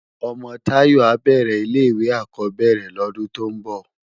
Òmò Tayo á bèrè ilé iwé ákòbèrè lòdún tò n bò